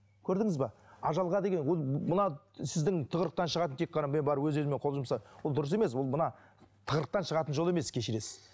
көрдіңіз бе ажалға деген ол мына сіздің тығырықтан шығатын тек қана мен бар өз өзіме қол жұмса ол дұрыс емес ол мына тығырықтан шығатын жол емес кешіресіз